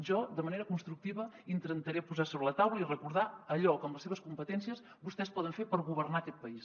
jo de manera constructiva intentaré posar sobre la taula i recordar allò que amb les seves competències vostès poden fer per governar aquest país